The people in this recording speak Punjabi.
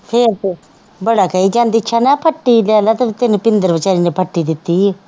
ਫੇਰ ਤੇ, ਬੜਾ ਕਹੀ ਜਾਂਦੀ ਸੀ ਨਾ, ਫੱਟੀ ਤੈਨੂੰ ਭਿੰਦਰ ਬੇਚਾਰੇ ਨੇ ਫੱਟੀ ਦਿੱਤੀ ਹੈ।